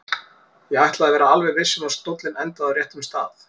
Ég ætlaði að vera alveg viss um að stóllinn endaði á réttum stað.